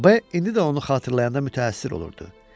B indi də onu xatırlayanda mütəəssir olurdu.